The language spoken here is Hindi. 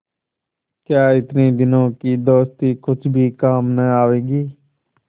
क्या इतने दिनों की दोस्ती कुछ भी काम न आवेगी